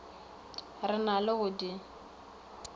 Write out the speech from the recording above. re na le go di